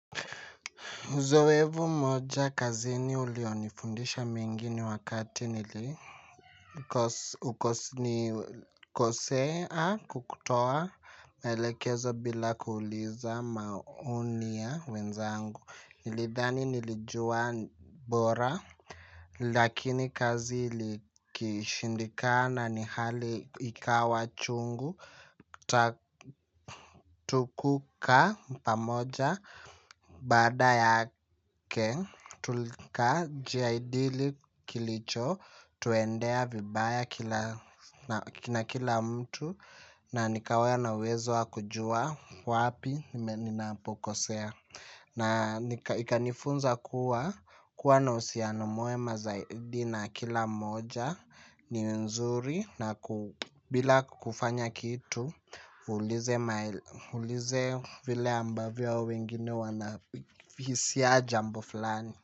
Uzoefu moja kazini ulionifundisha mingini wakati nilikosea kwa kutoa maelekezo bila kuuliza maoni ya wenzangu. Nilidhani nilijua bora. Lakini kazi ilikishindikana ni hali ikawa chungu. Tukuka pamoja baada yake tulijadili lkilicho tuendea vibaya kila mtu na nikawa na uwezo wa kujua wapi ninapokosea. Na ikanifunza kua, kua na uhusiano mwema zaidi na kila mmoja ni nzuri na bila kufanya kitu uulize vile ambavyo wengine wanavisia jambo fulani.